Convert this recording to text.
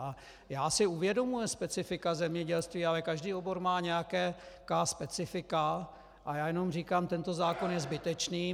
A já si uvědomuji specifika zemědělství, ale každý obor má nějaká specifika a já jenom říkám, tento zákon je zbytečný.